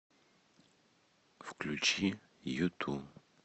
включи юту